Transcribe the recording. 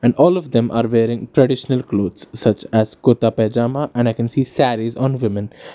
And all of them are wearing traditional clothes such as kurta pajama and I can see sarees on women.